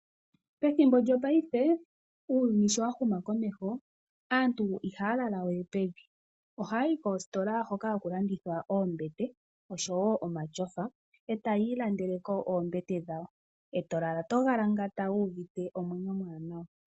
Methimbo lyongaashingeyi uuyuni sho wahuma komeho aantu ihaya lala we pevi, ohaya yi koositola hoka haku landithwa oombete oshowo omatyofa nokudhi ilandela.